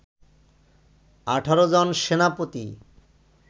১৮ জন সেনাপতি